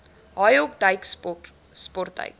haaihok duik sportduik